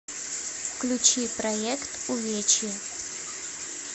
включи проект увечье